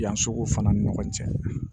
Yan sugu fana ni ɲɔgɔn cɛ